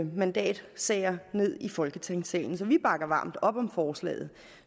mandatsager ned i folketingssalen så vi bakker varmt op om forslaget